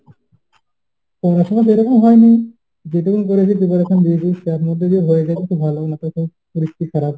পড়াশোনা সেরকম হয়নি। যেটুকু পড়েছি preparation দিয়েছি তার মধ্যে যদি হয়ে যায় তো ভালো। না হলে তো পরিস্থিতি খারাপ।